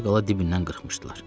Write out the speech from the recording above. Az qala dibindən qırxmışdılar.